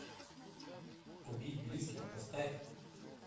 убить близких поставь